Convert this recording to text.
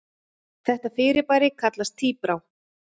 Þetta fyrirbæri kallast tíbrá.